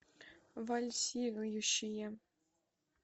вальсирующие